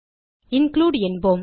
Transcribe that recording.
include என்போம்